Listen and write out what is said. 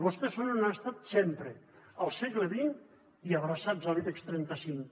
vostès són on han estat sempre al segle xx i abraçats a l’ibex trenta cinc